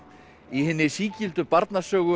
í hinni sígildu